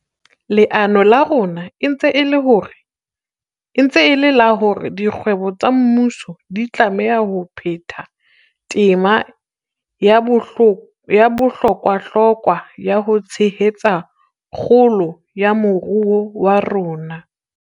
Leano la rona e ntse e le la hore dikgwebo tsa mmuso di tlameha ho phetha tema ya bohlokwahlokwa ya ho tshehetsa kgolo ya moruo wa rona.